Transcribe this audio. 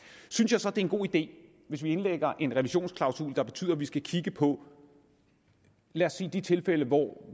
synes jeg så det er en god idé hvis vi indlægger en revisionsklausul der betyder at vi skal kigge på lad os sige de tilfælde hvor